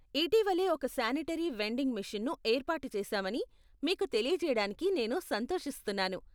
ఇటీవలే ఒక sanitary vending మెషీన్ను ఏర్పాటు చేశామని మీకు తెలియజేయడానికి నేను సంతోషిస్తున్నాను.